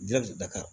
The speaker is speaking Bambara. Jati daga